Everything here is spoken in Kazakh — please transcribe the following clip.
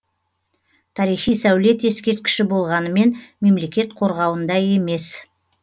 тарихи сәулет ескерткіші болғанымен мемлекет қорғауында емес